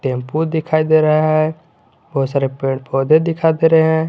Tempo दिखाई दे रहा है बहुत सारे पेड़ पौधे दिखाई दे रहे हैं।